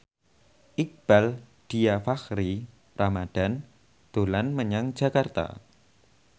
Iqbaal Dhiafakhri Ramadhan dolan menyang Jakarta